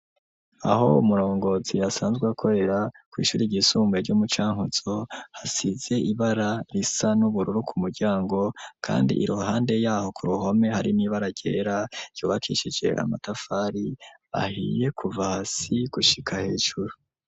Aho umurongozi asanzwe akorera, kw'ishuri ryisumbuye ryo mu Cankuzo, hasize ibara risa n'ubururu ku muryango, kandi iruhande y'aho ku ruhome hari n'ibara ryera, ryubakishije amatafari ahiye kuva hasi gushika hejuru.